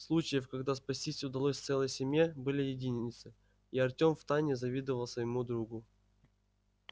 случаев когда спастись удалось целой семье были единицы и артём в тайне завидовал своему другу